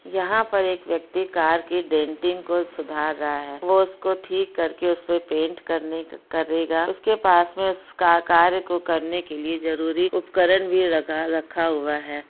यहाँ पर एक व्यक्ति कार की डेंटिंग को सुधार रहा है वो उसको ठीक करके उसपे पेंट करने का करेगा उसके पास में उसका कार्य को करने के लिए जरूरी उपकरण भी रखा रखा हुआ है।